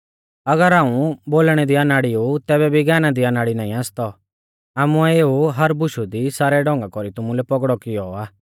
अगर हाऊं बोलणै दी अनाड़ी ऊ तैबै भी ज्ञाना दी अनाड़ी नाईं आसतौ आमुऐ एऊ हर बुशु दी सारै ढौंगा कौरी तुमुलै पौगड़ौ किऔ आ